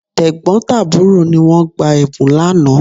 Tẹ̀gbọ́n tàbúrò ni wọ́n gba Ẹ̀bùn lánàá